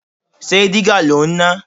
Ṣé dígà lò ń ná?